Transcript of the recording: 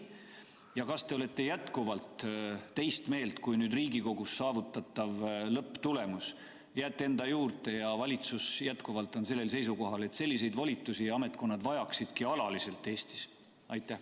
Ja kas te olete jätkuvalt teist meelt kui nüüd Riigikogus saavutatav lõpptulemus, jääte enda juurde ja valitsus on endiselt seisukohal, et selliseid volitusi Eestis ametkonnad vajavad alaliselt?